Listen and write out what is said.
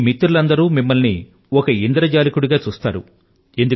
మీ మిత్రులందరూ మిమ్మల్ని ఒక ఇంద్రజాలికుడిగా చూస్తారు